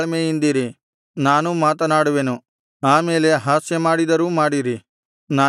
ತಾಳ್ಮೆಯಿಂದಿರಿ ನಾನೂ ಮಾತನಾಡುವೆನು ಆಮೇಲೆ ಹಾಸ್ಯಮಾಡಿದರೂ ಮಾಡಿರಿ